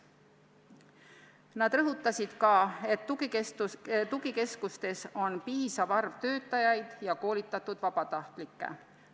Nad rõhutasid sedagi, et tugikeskustes on piisav arv töötajaid ja koolitatud vabatahtlikke.